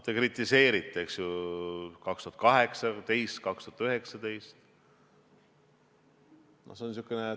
Te kritiseerite, eks ju, 2018 ja 2019.